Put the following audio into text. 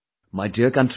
My dear countrymen